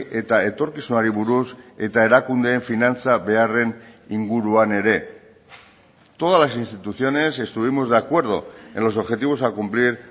eta etorkizunari buruz eta erakundeen finantza beharren inguruan ere todas las instituciones estuvimos de acuerdo en los objetivos a cumplir